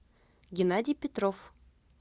геннадий петров